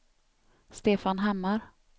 Stefan Hammar